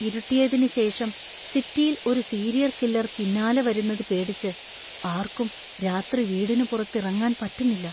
ഇരുട്ടിയതിനുശേഷം സിറ്റിയില്‍ ഒരു serial killer പിന്നാലെ വരുന്നത് പേടിച്ച് ആര്‍ക്കും രാത്രി വീടിനു പുറത്തിറങ്ങാന്‍ പറ്റുന്നില്ല.